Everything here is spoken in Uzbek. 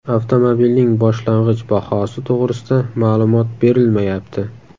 Avtomobilning boshlang‘ich bahosi to‘g‘risida ma’lumot berilmayapti.